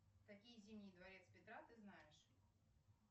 какие зимние дворец петра ты знаешь